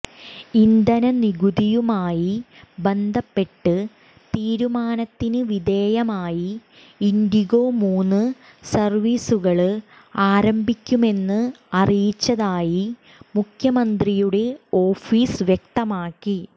ഇന്ധന നികുതിയുമായി ബന്ധപ്പെട്ട് തീരുമാനത്തിന് വിധേയമായി ഇന്ഡിഗോ മൂന്ന് സര്വീസുകള് ആരംഭിക്കുമെന്ന് അറിയിച്ചതായി മുഖ്യമന്ത്രിയുടെ ഓഫീസ് വ്യക്തമാക്കി